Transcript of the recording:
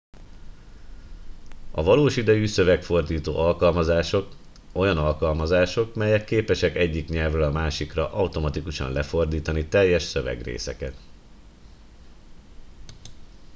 a valós idejű szövegfordító alkalmazások olyan alkalmazások melyek képesek egyik nyelvről a másikra automatikusan lefordítani teljes szövegrészeket